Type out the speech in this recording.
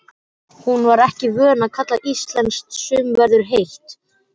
Hún var ekki vön að kalla íslenskt sumarveður heitt.